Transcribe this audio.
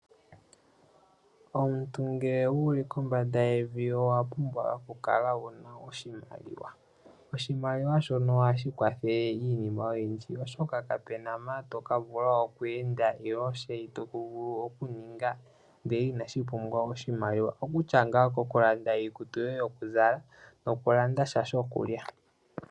Omuntu ngele wuli kombanda yevi owa pumbwa okukala wu na oshimaliwa. Oshimaliwa shono ohashi kwathele iinima oyindji oshoka ka pu na mpa to ka vula okweenda nenge shoka to vulu okuninga ndele ina shi pumbwa oshimaliwa oko kutya ngaa kokulanda iikutu yoye yokuzala nokulanda sha shokulya.